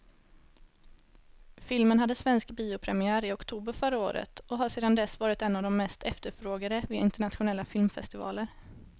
Filmen hade svensk biopremiär i oktober förra året och har sedan dess varit en av de mest efterfrågade vid internationella filmfestivaler.